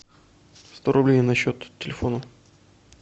сто рублей на счет телефона